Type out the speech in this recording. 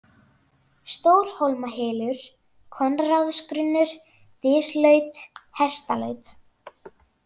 Stórhólmahylur, Konráðsgrunnur, Dyslaut, Hestalaut